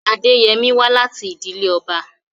Adeyemi wá láti ìdílé ọba.